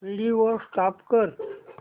video stop कर